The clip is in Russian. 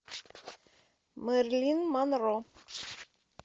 мэрилин монро